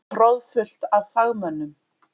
Troðfullt af fagmönnum.